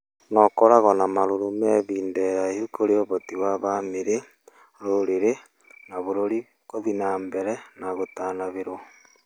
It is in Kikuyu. na ũkoragũo na marũrũ ma ihinda iraihu kũrĩ ũhoti wa bamĩrĩ, rũrĩrĩ, na bũrũri gũthie na mbere na gũtanahĩrũo